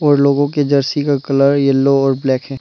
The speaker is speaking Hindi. उन लोगों के जर्सी का कलर येलो और ब्लैक है।